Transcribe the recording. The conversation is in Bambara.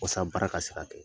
Waasa baara ka se ka kɛ